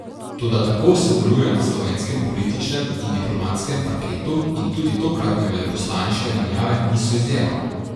Toda tako se deluje na slovenskem političnem in diplomatskem parketu in tudi tokratne veleposlaniške menjave niso izjema.